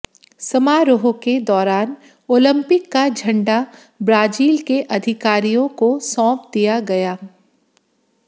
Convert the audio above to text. समारोह के दौरान ओलिंपिक का झंडा ब्राजील के अधिकारियों को सौंप दिया गया